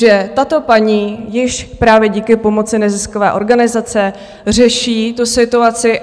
Že tato paní již právě díky pomoci neziskové organizace řeší tu situaci.